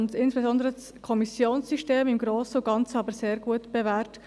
und insbesondere das Kommissionensystem, im Grossen und Ganzen sehr gut bewährt.